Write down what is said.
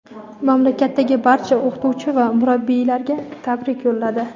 mamlakatdagi barcha o‘qituvchi va murabbiylarga tabrik yo‘lladi.